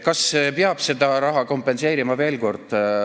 Kas peab selle raha kaotust kompenseerima?